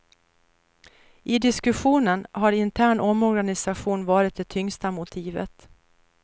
I diskussionen har intern omorganisation varit det tyngsta motivet.